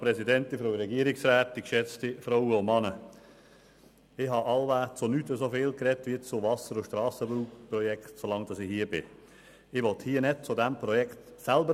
Seit ich dem Grossen Rat angehöre, habe ich wohl zu nichts so viel gesprochen wie zu Wasser- und Strassenbauprojekten.